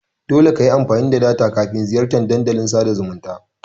Dole kayi amfani da data kafin ziyartan Dandalin sada zumunta.